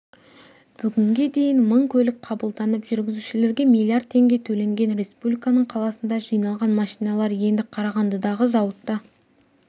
бүгінге дейін мың көлік қабылданып жүргізушілерге миллиард теңге төленген республиканың қаласында жиналған машиналар енді қарағандыдағы зауытта